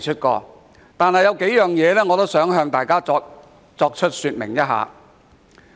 儘管如此，我想向大家說明數點。